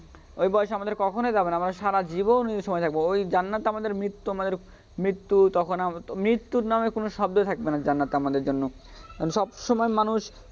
ওই বয়সে আমাদের কখনই যাবেনা, আমরা সারাজীবন ওই সময়েই থাকব ওই জান্নাত আমাদের মৃত্যু আমাদের মৃত্যু তখন হবে মৃত্যুর নামে কোনও শব্দই থাকবে না জান্নাতে আমাদের জন্য সময় মানুষ,